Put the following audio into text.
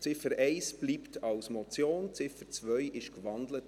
Ziffer 1 bleibt als Motion bestehen, Ziffer 2 wurde in ein Postulat gewandelt.